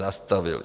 Zastavili.